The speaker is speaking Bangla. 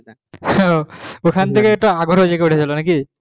হ্যাঁ ওখান থেকে তোমার আগ্রহ জেগে ওঠেছিলো নাকি